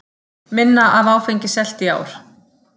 Minna af áfengi selt í ár